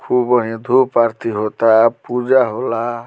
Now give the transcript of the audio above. खूब बढ़िया धुप आरती होता पूजा होला।